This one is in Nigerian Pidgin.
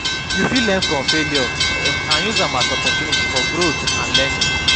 You fit learn from failure and use am as opportunity for growth and learning.